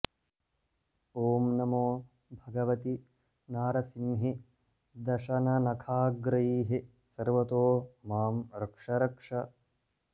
ॐ नमो भगवति नारसिंहि दशननखाग्रैः सर्वतो मां रक्ष रक्ष